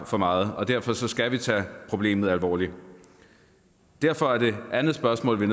for meget og derfor skal vi tage problemet alvorligt derfor er det andet spørgsmål vi